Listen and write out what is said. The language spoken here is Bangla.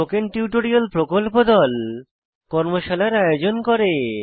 স্পোকেন টিউটোরিয়াল প্রকল্প দল কর্মশালার আয়োজন করে